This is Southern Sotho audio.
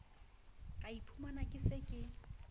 ka iphumana ke se ke